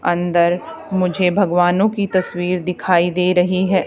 अंदर मुझे भगवानों की तस्वीर दिखाई दे रही है।